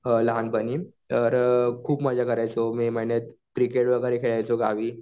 लहानपणी तर अ खूप मजा करायचो मे महिन्यात. क्रिकेट वगैरे खेळायचो गावी.